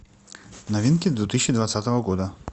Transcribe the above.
новинки две тысячи двадцатого года